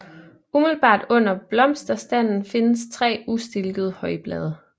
Umiddelbart under blomsterstanden findes tre ustilkede højblade